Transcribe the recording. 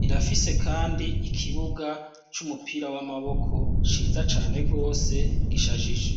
rirafise kandi ikibuga c'umupira w'amaboko ciza cane rwose gishajije.